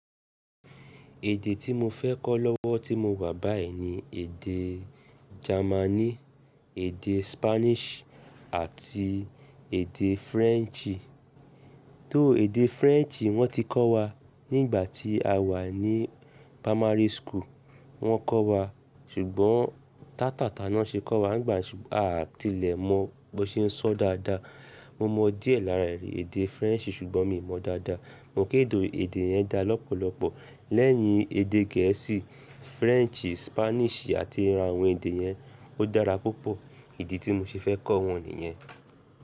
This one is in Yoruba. Èdè tí mo fẹ́ kọ́ lọ́wọ́ tí mo wà báyìí ni èdè Germani, èdè Spanish àti èdè French. Tó èdè French wọ́n ti kọ́ wa nígbà tí a wà ní primary school wọ́n kọ́ wa ṣùgbọ́n tátáta náà ṣe kọ́ wa nígbà yẹn ṣùgbọ́n a à tilẹ̀ mọ bó ṣe ń sọ dáadáa. Mo mọ díẹ̀ lára ẹ̀rí èdè French ṣùgbọ́n mi ò mọ dáadáa. Mo kéde èdè yẹn dá lọ́pọ̀lọpọ̀ lẹ́yìn èdè Gẹ̀ẹ́sì, French, Spanish àti ara àwọn èdè yẹn. Ó dára púpọ̀. Idi tí mo ṣe fẹ́ kọ́ wọ́n nìyẹn.